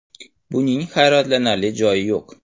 Buning hayratlanarli joyi yo‘q.